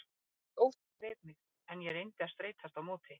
Nagandi ótti greip mig, en ég reyndi að streitast á móti.